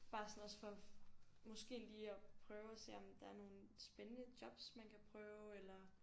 Bare sådan også for måske lige at prøve at se om der er nogle spændende jobs man kan prøve eller